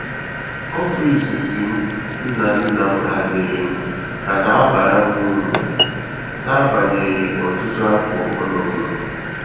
Ọgụ izizi m nna nna m hanyere m ka na abara m uru n'agbanyeghị ọtụtụ afọ ọ nọgoro